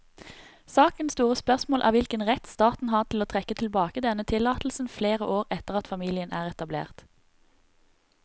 Sakens store spørsmål er hvilken rett staten har til å trekke tilbake denne tillatelsen flere år etter at familien er etablert.